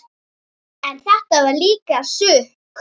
En þetta var líka sukk.